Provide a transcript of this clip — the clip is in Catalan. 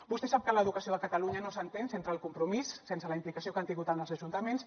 vostè sap que l’educació a catalunya no s’entén sense el compromís sense la implicació que han tingut els ajuntaments